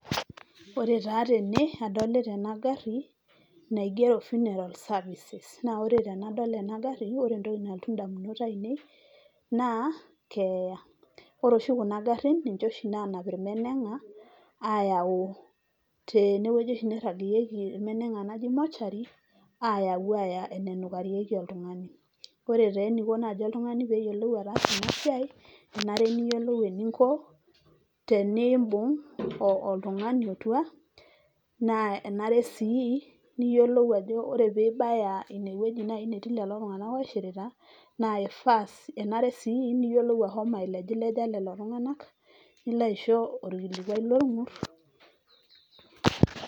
Ore taa tene adolita ena gari naigero funeral services . Naa ore tenadol ena gari ore entoki nalotu indamunot ainei naa keeya. Ore oshikuna garin ninche oshi nanap irmenenga ayau tene wueji oshi niragieyieki irmenenga naji mortuary ayau aya enenukarieki oltunganai. Ore taa eniko oltungani peyiolou ataasa ena siai ,kenare niyiolou tenimbung oltungani otua naa enare sii niyiolou ajo ore pibaya ine wueji naji netii lelo tunganak oishirita naa ifaa, enare sii niyiolou ailejileja lelo tunganak ,nilo aisho orkilikwai lorngur.